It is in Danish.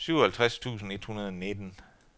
syvoghalvtreds tusind et hundrede og nitten